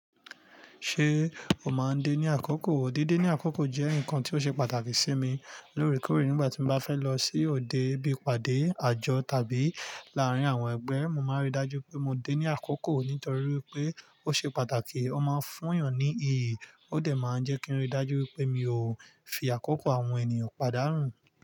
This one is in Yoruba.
Ṣé o máa ń dé ní àkókò? Dídé ní àkókò jẹ́ nǹkan tí ó ṣe pàtàkì sí mi lóòrèkóòrè nígbà tí mo bá fẹ́ lọ sí òde bíi ìpàdé, àjọ tàbí láàárín àwọn ẹgbẹ́. Mo máa n rí i dájú pé mo dé ní àkókò nítorí wípé ó ṣe pàtàkì, ó máa ń fún èèyàn ní iyì ó dẹ̀ máa ń jẹ́ kí n rí i dájú wípé mi ò fi àkókò àwọn ènìyàn padà nu.